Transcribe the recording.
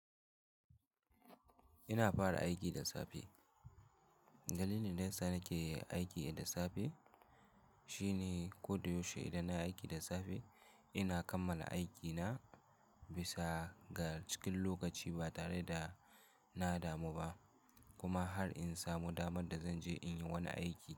Ina fara aiki da safe. Dalilin da ya sa nake aiki da safe shine ko da yaushe idan na aiki da safe, ina kammala aikina bisa ga cikin lokaci ba tare da na damu ba kuma har in samu damar da zan je in yi wani aiki.